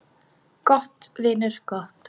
Gott, vinur, gott.